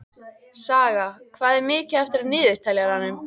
Saga, hvað er mikið eftir af niðurteljaranum?